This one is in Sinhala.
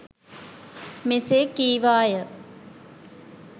මෙසේ කීවා ය.